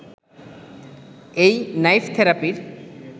এই নাইফ থেরাপির